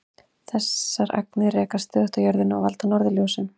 Þessar agnir rekast stöðugt á jörðina og valda norðurljósum.